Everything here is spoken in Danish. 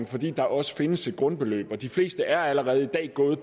fordi der også findes et grundbeløb de fleste er allerede i dag gået